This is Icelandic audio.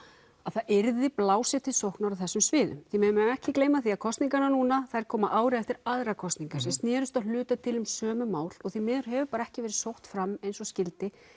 að það yrði blásið til sóknar á þessum sviðum því við megum ekki gleyma því að kosningarnar núna koma ári eftir aðrar kosningar sem snerust að hluta til um sömu mál og því miður hefur bara ekki verið sótt fram eins og skyldi